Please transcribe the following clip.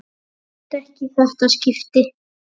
Brosti ekki í þetta skipti.